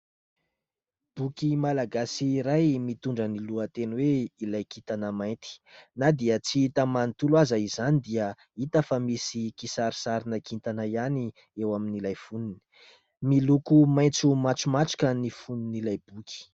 Boky malagasy iray mitondra ny lohateny hoe :" ilay kintana mainty". Na dia tsy hita manontolo aza izany dia hita fa misy kisarisarina kintana ihany eo amin'ilay foniny. Miloko maitso matromatroka ny fonin' ilay boky.